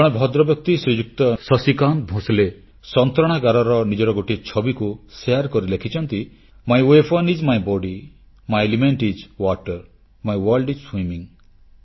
ଜଣେ ଭଦ୍ରବ୍ୟକ୍ତି ଶ୍ରୀଯୁକ୍ତ ଶଶିକାନ୍ତ ଭୋଁସଲେ ସନ୍ତରଣାଗାରର ନିଜର ଗୋଟିଏ ଛବିକୁ ବାଣ୍ଟି ଲେଖିଛନ୍ତି my weapon is my body my element is water my world is swimming